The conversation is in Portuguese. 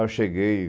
Aí eu cheguei